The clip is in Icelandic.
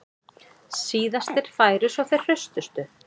Síðastir færu svo þeir hraustustu